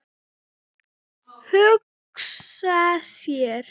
Hugsa sér.